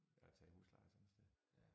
At tage i husleje sådan et sted